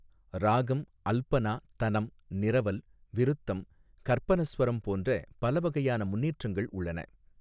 ராகம், அல்பனா, தனம், நிரவல், விருத்தம், கற்பனஸ்வரம் போன்ற பல வகையான முன்னேற்றங்கள் உள்ளன.